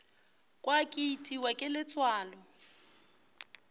kwa ke itiwa ke letswalo